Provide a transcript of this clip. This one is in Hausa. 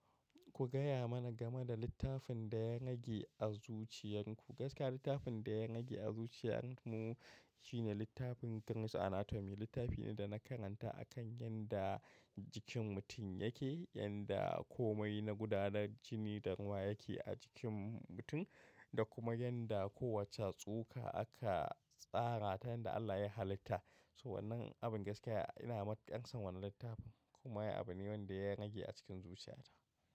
Ku gaya mana game da littafin da ya rage a zuciyarku. Gaskiya littafin ɗaya rage a zuciyar mu shine littafin Gray's Anatomy. Littafi ne dana karanta akan yanda jikin mutum yake, yanda komai na gudanar jini da ruwa yake a jikin mutum da kuma yanda kowacce tsoka aka tsara ta yadda Allah ya halitta. To wannan abin gaskiya ina matuƙar son wannan littafin kuma ai abune wanda ya rage a cikin zuciyata.